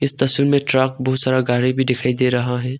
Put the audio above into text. तस्वीर में ट्रक बहुत सारा गाड़ी भी दिखाई दे रहा है।